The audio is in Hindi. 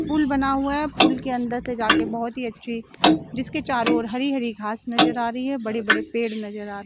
पूल बना हुआ है पूल के अंदर से जाकर बहोत ही अच्छी जिसके चारों ओर हरी हरी घास नजर आ रही है बड़े बड़े पेड़ नजर आ--